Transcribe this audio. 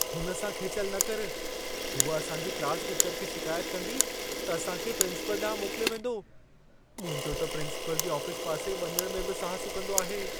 हुन सां खेचलि न करु। हूअ असांजी क्लास टीचर खे शिकायत कंदी, त असां खे प्रिंसिपल ॾांहुं मोकिलियो वेंदो। मुंहिंजो त प्रिंसिपल जी आफिस पासे वञण में बि साह सुकंदो आहे।